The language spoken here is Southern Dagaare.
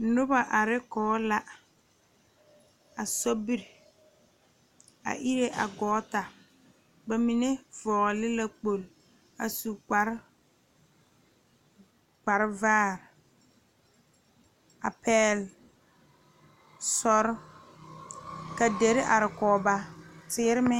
Noba are kɔŋ la a sobiiri a iri a gɔɔta bamine vɔgle la kpoŋlo a su kpare vaare a pegle soɔre ka diire are kɔŋ ba teere meŋ.